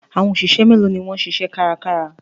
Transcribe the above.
Àwọn òṣìṣẹ́ méèló ni wọ́n ń ṣiṣẹ́ kárakára?